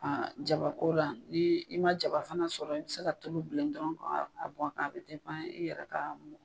Jabako la ni i ma jaba fana sɔrɔ i bi se ka tulu bilen dɔrɔn k'a bɔn a kan a bɛ i yɛrɛ ka.